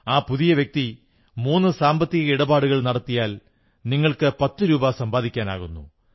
ആ പുതിയ വ്യക്തി മൂന്ന് സാമ്പത്തിക ഇടപാടുകൾ നടത്തിയാൽ നിങ്ങൾക്ക് പത്തു രൂപ സമ്പാദിക്കാനാകുന്നു